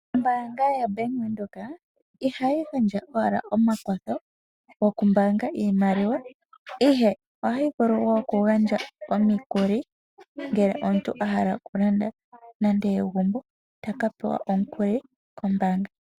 Ombaanga yaBank Windhoek, ihayi gandja owala omakwatho gokumbaanga iimaliwa, ihe ohayi vulu wo okugandja omikuli, ngele omuntu ahala okulanda nande egumbo, otaka pewa omukuli kombaanga.